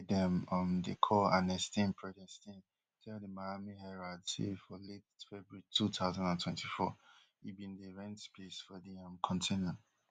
one man wey dem um dey call anestin predestin tell di miami herald say for late february two thousand and twenty-four e bin dey rent space for di um container